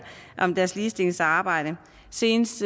om deres ligestillingsarbejde senest